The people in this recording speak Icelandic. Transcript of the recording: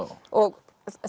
og